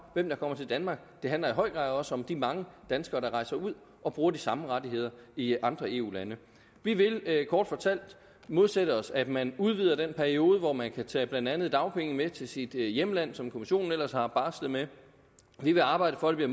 hvem der kommer til danmark det handler i høj grad også om de mange danskere der rejser ud og bruger de samme rettigheder i andre eu lande vi vil kort fortalt modsætte os at man udvider den periode hvor man kan tage blandt andet dagpenge med til sit hjemland som kommissionen ellers har barslet med vi vil arbejde for at det